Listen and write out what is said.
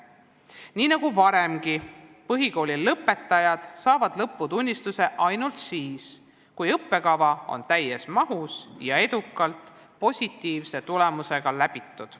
Nii nagu varemgi, saavad põhikooli lõpetajad lõputunnistuse ainult siis, kui õppekava on täies mahus ja edukalt positiivse tulemusega läbitud.